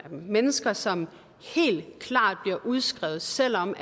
mennesker som bliver udskrevet selv om